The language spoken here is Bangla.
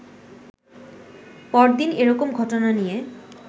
পরদিন এরকম ঘটনা নিয়ে